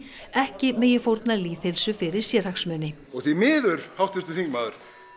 ekki megi fórna lýðheilsu fyrir sérhagsmuni og því miður háttvirtur þingmaður